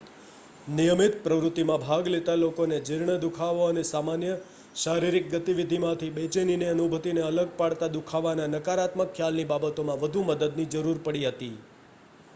નિયમિત પ્રવૃત્તિમાં ભાગ લેતા લોકોને જીર્ણ દુખાવો અને સામાન્ય શારીરિક ગતિવિધિમાંથી બેચેનીની અનુભૂતિને અલગ પાડતા દુખાવાના નકારાત્મક ખ્યાલની બાબતોમાં વધુ મદદની જરૂર પડી હતી